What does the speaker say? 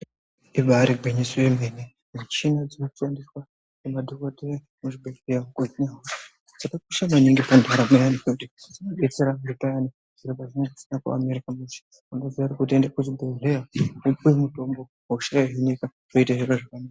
Ibari gwinyiso yemene michini inoshandiswa ngemadhokodheya muzvibhedhleya dzakakosha maningi pandaramo yevantu nekuti anodetsera zviro pazvinenge zvisina kumira mushe wotoziya kuti anoenda kuchibhedhleya wopuwa mitombo hosha yohinika.